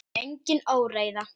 Það er engin óreiða.